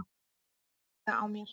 Hægði á mér.